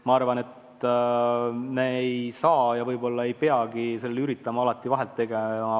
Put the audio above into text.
Ma arvan, et me ei saa seda vahet kindlaks teha ja võib-olla ei peagi üritama seda alati teha.